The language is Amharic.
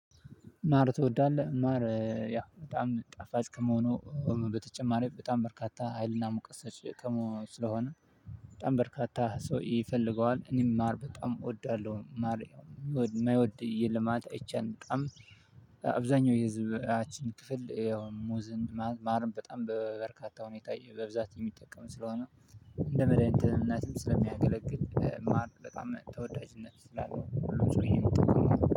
ማር ትወዳለህ ማር ያ በጣም ጣፋጭ ከመሆኑ በተጨማሪ በጣም በርካታ ሀይልና ሙቀት ሰጭ ስለሆነ በጣም በርካታ ሰው ይፈልገዋል። እኔም ማር በጣም እወዳለሁ። የማይወድ የለም ማለት አይቻልም። በጣም አብዛኛው የህዝባችን ክፍል ያው ሙዝን ማርም በጣም በበርካታ ሁኔታ በብዛት የሚጠቀም ስለሆነ እንደ መድሃኒትነትም ስለሚያገለግል ማር በጣም ተወዳጅነት ስላልነው ሁሉም ሰውዬ የሚጠቀመው